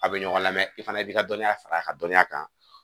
A bɛ ɲɔgɔn lamɛn i fana b'i ka dɔnniya fara a ka dɔnniya kan